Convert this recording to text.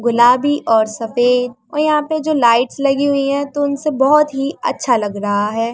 गुलाबी और सफेद और यहाँ पर जो लाइट्स लगी हुई हैं तो उनसे बहोत ही अच्छा लग रहा है।